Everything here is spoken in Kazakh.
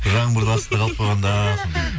жаңбырдың астында қалып қойғанда сондай